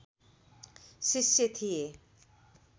शिष्य थिए